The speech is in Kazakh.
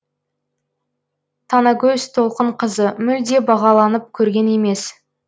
танагөз толқынқызы мүлде бағаланып көрген емес